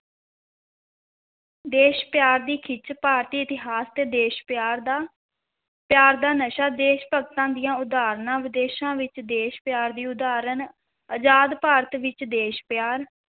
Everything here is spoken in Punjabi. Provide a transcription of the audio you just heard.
ਦੇਸ਼ ਪਿਆਰ ਦੀ ਖਿੱਚ, ਭਾਰਤੀ ਇਤਿਹਾਸ ਤੇ ਦੇਸ਼ ਪਿਆਰ ਦਾ, ਪਿਆਰ ਦਾ ਨਸ਼ਾ, ਦੇਸ਼ ਭਗਤਾਂ ਦੀਆਂ ਉਦਾਹਰਨਾਂ, ਵਿਦੇਸ਼ਾਂ ਵਿੱਚ ਦੇਸ਼ ਪਿਆਰ ਦੀ ਉਦਾਹਰਨ, ਅਜ਼ਾਦ ਭਾਰਤ ਵਿੱਚ ਦੇਸ਼ ਪਿਆਰ।